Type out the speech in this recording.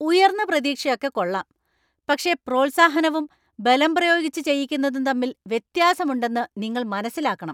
ഉയർന്ന പ്രതീക്ഷയൊക്കെ കൊള്ളാം. പക്ഷെ പ്രോത്സാഹനവും, ബലം പ്രയോഗിച്ച് ചെയ്യിക്കുന്നതും തമ്മിൽ വ്യത്യാസമുണ്ടെന്നു നിങ്ങള്‍ മനസ്സിലാക്കണം.